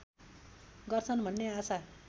गर्दछ भन्ने आशा